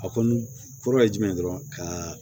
A kɔni fura ye jumɛn dɔrɔn ka